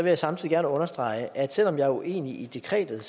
jeg samtidig gerne understrege at selv om jeg er uenig i dekretet